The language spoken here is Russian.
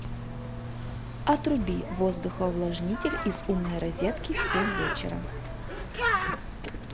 отруби воздухоувлажнитель из умной розетки в семь вечера